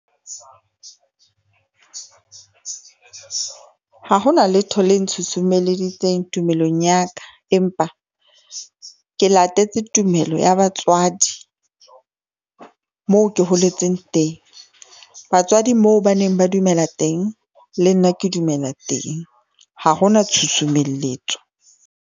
Ha hona letho le ntshusumeleditseng tumelong ya ka, empa ke latetse tumelo ya batswadi, moo ke holetseng teng. Batswadi moo baneng ba dumela teng, le nna ke dumela teng, ha hona tshusumelletso.